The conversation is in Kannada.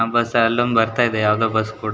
ಆ ಬಸ್ ಅಲ್ಲೊಂದ್ ಬರ್ತಾ ಇದೆ ಯಾವ್ದೋ ಬಸ್ ಕೂಡ--